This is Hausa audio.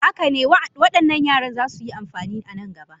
Haka ne, waɗannan yaran za su yi amfani a nan gaba.